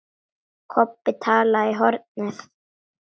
Kobbi talaði í hornið.